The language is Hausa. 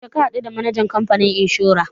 Yaushe ka haɗu the manajan kamfanin inshora?